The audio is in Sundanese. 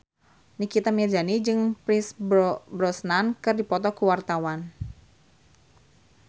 Nikita Mirzani jeung Pierce Brosnan keur dipoto ku wartawan